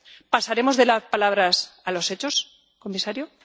¿Pasaremos de las palabras a los hechos, señor comisario?